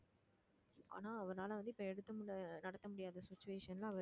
ஆனா அவர்னால வந்து இப்ப எடுக்க முடியாத நடத்த முடியாத situation ல